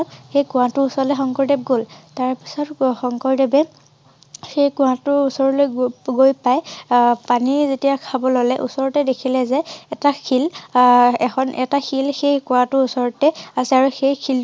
সেই কোঁৱাতোৰ ওচৰলৈ শংকৰদেৱ গল। তাৰ পিছত শংকৰ দেৱে সেই কোঁৱাতোৰ ওচৰলৈ গ গৈ পাই অ পানীৰ যেতিয়া খাব ললে ওচৰতে দেখিলে যে এটা শিল আহ এখন এটা শিল সেই কুৱাটোৰ ওচৰতে আছে আৰু সেই শিল টো ঘহনি খাই খাই শিল টো সৰু হৈ গৈছে অৰ্থাৎ সেই ঠাই টুকুৰ দ হৈ গৈছে আৰু শিল টো সৰু হৈ গৈছে।